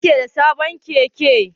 Wa yake da sabon Keke?